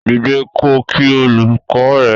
Dìde ko kí olùkọ ẹ!